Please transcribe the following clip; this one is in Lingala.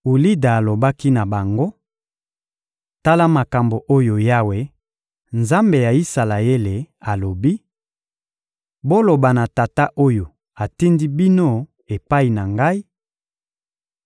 Ulida alobaki na bango: — Tala makambo oyo Yawe, Nzambe ya Isalaele, alobi: «Boloba na tata oyo atindi bino epai na Ngai: